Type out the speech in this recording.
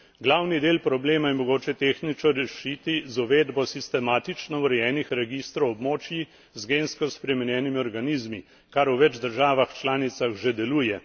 Glavni del problema je mogoče tehnično rešiti z uvedbo sistematično urejenih registrov območij z gensko spremenjenimi organizmi, kar v več državah članicah že deluje.